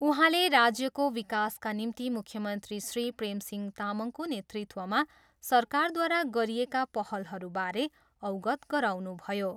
उहाँले राज्यको विकासका निम्ति मुख्यमन्त्री श्री प्रेमसिंह तामङको नेतृत्वमा सरकारद्वारा गरिएका पहलहरूबारे अवगत गराउनुभयो।